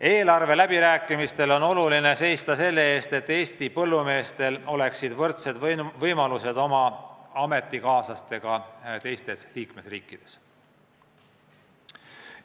Eelarveläbirääkimistel on oluline seista selle eest, et Eesti põllumeestel oleksid võrdsed võimalused oma ametikaaslastega teistes liikmesriikides.